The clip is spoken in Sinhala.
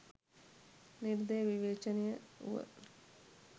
නිර්දය විවේචනය වුව